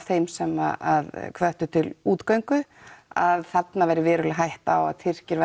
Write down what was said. þeim sem hvöttu til útgöngu að þarna væri hætta á að Tyrkir